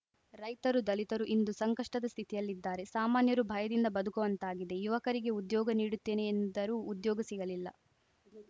ರೈತರು ದಲಿತರು ಇಂದು ಸಂಕಷ್ಟದ ಸ್ಥಿತಿಯಲ್ಲಿದ್ದಾರೆ ಸಾಮಾನ್ಯರು ಭಯದಿಂದ ಬದುಕುವಂತಾಗಿದೆ ಯುವಕರಿಗೆ ಉದ್ಯೋಗ ನೀಡುತ್ತೇನೆ ಎಂದರು ಉದ್ಯೋಗ ಸಿಗಲಿಲ್ಲ